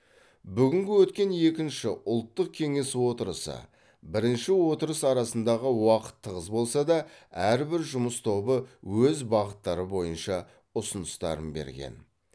бүгін өткен екінші ұлттық кеңес отырысы бірінші отырыс арасындағы уақыт тығыз болса да әрбір жұмыс тобы өз бағыттары бойынша ұсыныстарын берген